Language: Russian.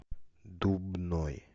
дубной